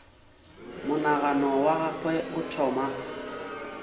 monagano wa gagwe o thoma